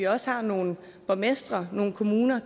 også er nogle borgmestre nogle kommuner